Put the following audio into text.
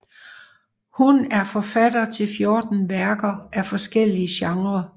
Hun er forfatter til fjorten værker af forskellige genrer